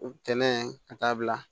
Ntɛnɛn ka taa bila